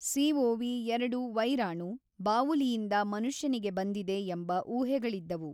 CoV ಎರಡು ವೈರಾಣು ಬಾವುಲಿಯಿಂದ ಮನುಷ್ಯನಿಗೆ ಬಂದಿದೆ ಎಂಬ ಊಹೆಗಳಿದ್ದವು.